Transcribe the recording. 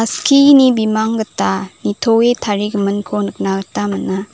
bimang gita nitoe tarigiminko nikna gita man·a.